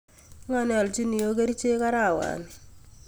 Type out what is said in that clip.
Ngo neolchin iyo kerichek arawani?